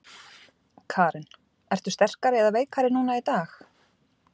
Karen: Ertu sterkari eða veikari núna í dag?